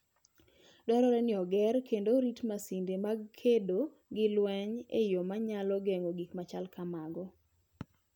Dwarore ni oger kendo orit masinde mag kedo gi lweny e yo manyalo geng'o gik machalo kamago.